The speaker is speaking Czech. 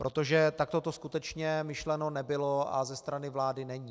Protože takto to skutečně myšleno nebylo a ze strany vlády není.